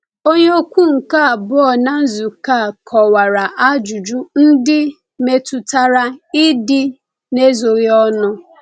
Onye okwu nke abụọ na nzukọ a kọwara ajụjụ ndị metụtara ịdị n’ezoghị ọnụ.